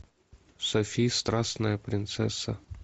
софи страстная принцесса